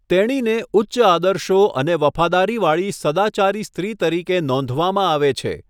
તેણીને ઉચ્ચ આદર્શો અને વફાદારીવાળી સદાચારી સ્ત્રી તરીકે નોંધવામાં આવે છે.